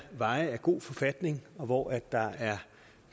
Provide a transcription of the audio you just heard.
veje i god forfatning og hvor der er